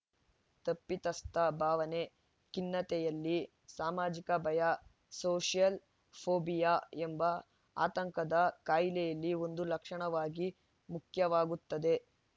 ತಪ್ಪಿತಸ್ಥ ಭಾವನೆ ಖಿನ್ನತೆಯಲ್ಲಿ ಸಾಮಾಜಿಕ ಭಯ ಸೋಷೆಯಲ್‌ ಫೋಬಿಯಾ ಎಂಬ ಆತಂಕದ ಕಾಯಿಲೆಯಲ್ಲಿ ಒಂದು ಲಕ್ಷಣವಾಗಿ ಮುಖ್ಯವಾಗುತ್ತದೆ